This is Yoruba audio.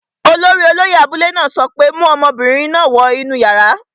Olórí olóyẹ̀ abúlé náà sọ pé, 'mu ọmọbìnrin náà wọ inú yàrá!